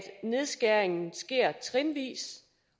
nedskæringen sker trinvis